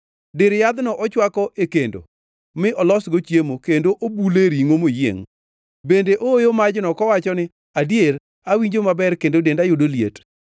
Dir yadhno ochwako e kendo mi olosgo chiemo, kendo obule ringʼo moyiengʼ. Bende ooyo majno kowacho ni, “Adier, awinjo maber kendo denda yudo liet.”